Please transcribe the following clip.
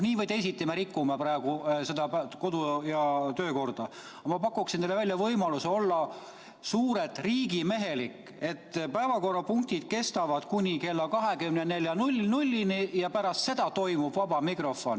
Nii või teisiti me rikume praegu kodu- ja töökorda, aga ma pakun teile välja võimaluse olla suurelt riigimehelik ja korraldada nii, et päevakorrapunktid kestavad kuni kella 24-ni ja pärast seda toimub vaba mikrofon.